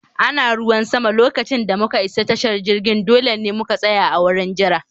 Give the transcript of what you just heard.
Ana ruwan sama lokacin da muka isa tashar jirgin, dole ne mu tsaya a wurin jira